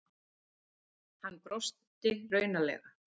Hann brosti raunalega.